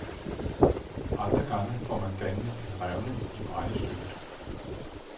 Andre gange får man dannet en revne i brændestykket.